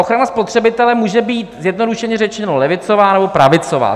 Ochrana spotřebitele může být, zjednodušeně řečeno, levicová nebo pravicová.